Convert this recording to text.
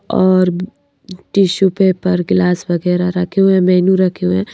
और tissue paper गिलास वगैरह रखे हुए हैं मेनू रखे हुए हैं।